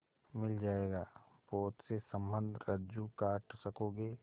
मिल जाएगा पोत से संबद्ध रज्जु काट सकोगे